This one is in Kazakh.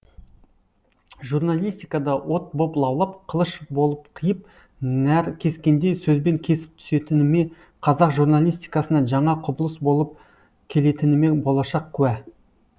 журналистикада от боп лаулап қылыш болып қиып наркескендей сөзбен кесіп түсетініме қазақ журналистикасына жаңа құбылыс болып келетініме болашақ куә